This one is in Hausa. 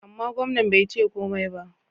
Amma, gwamnan bai ce komai ba.